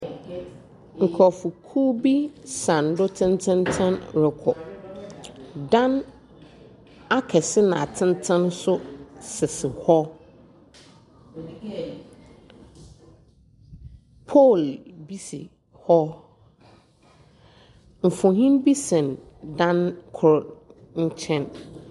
Nkorɔfokuw bi sa do tsentsentsen rokɔ. Dan akɛse na atsentsen nso sisi hɔ Pole bi si hɔ. Mfonyin bi sɛn dan kor nkyɛn.